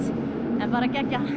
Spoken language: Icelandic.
en bara geggjað